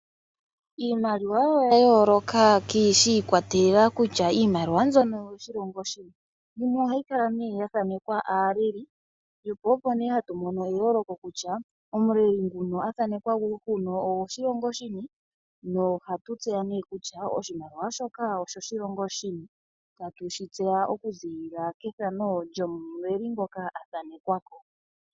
Iimaliwa oya yooloka shi ikwatelela kutya iimaliwa mbyono oyo shilongo shini. Yimwe ohayi kala nee ya thaanekwa aaleli, po opo nee hatu mono eyooloko kutya omuleli nguno a thanekwa huno ogo shilongo shini, no hatu tseya nee kutya oshimaliwa shoka osho shilongo shini. Tatu shi tseya okuziilila kethano lyomuleli ngoka a thanekwako.